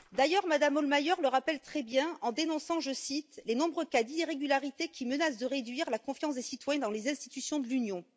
D'ailleurs, Mme Hohlmeier le rappelle très bien en dénonçant, je cite, les nombreux cas d'irrégularités qui menacent de réduire la confiance des citoyens dans les institutions de l'Union.